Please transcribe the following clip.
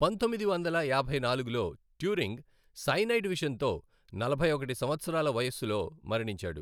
పంతొమ్మిది వందల యాభై నాలుగులో, ట్యూరింగ్ సైనైడ్ విషంతో నలభై ఒకటి సంవత్సరాల వయస్సులో మరణించాడు.